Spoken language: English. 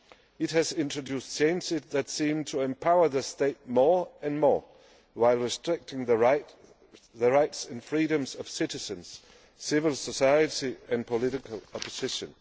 It has introduced changes that seem to empower the state more and more, while restricting the rights and freedoms of citizens, civil society and political opposition.